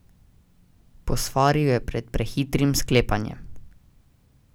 Posvaril je pred prehitrim sklepanjem.